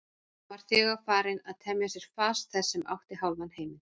Hann var þegar farinn að temja sér fas þess sem átti hálfan heiminn.